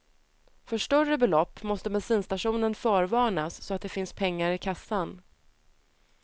För större belopp måste bensinstationen förvarnas så att det finns pengar i kassan.